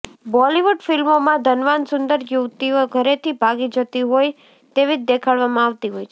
બોલિવૂડ ફિલ્મોમાં ધનવાન સુંદર યુવતીઓ ઘરેથી ભાગી જતી હોય તેવી જ દેખાડવામાં આવતી હોય છે